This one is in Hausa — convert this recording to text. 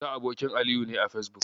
Musa abokin Aliyu ne a Fesbuk.